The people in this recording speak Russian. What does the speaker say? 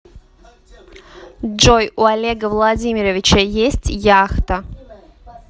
джой у олега владимировича есть яхта